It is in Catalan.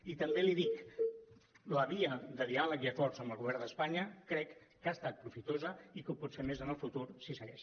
i també li dic la via de diàleg i acords amb el govern d’espanya crec que ha estat profitosa i que ho pot ser més en el futur si segueix